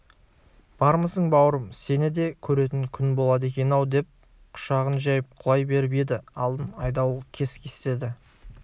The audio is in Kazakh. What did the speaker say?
бармысың бауырым сені де көретін күн болады екен-ау деп құшағын жайып құлай беріп еді алдын айдауыл кес-кестеді